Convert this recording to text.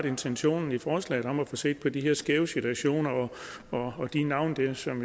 intentionen i forslaget om at få set på de her skæve situationer og de navne som